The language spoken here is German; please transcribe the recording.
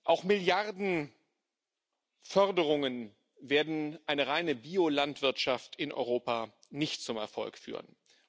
Auch Milliarden Forderungen werden eine reine Biolandwirtschaft in Europa nicht zum Erfolg führen.